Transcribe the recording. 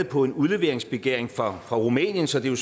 på en udleveringsbegæring fra rumænien så det er